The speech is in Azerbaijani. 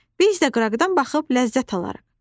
Biz də qıraqdan baxıb ləzzət alarıq."